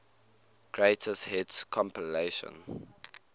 greatest hits compilation